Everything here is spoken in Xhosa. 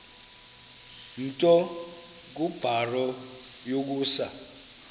nto kubarrow yokusa